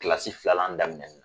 Kilasi filalan daminɛ ni